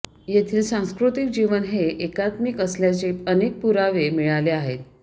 येथील सांस्कृतिक जीवन हे एकात्मिक असल्याचे अनेक पुरावे मिळाले आहेत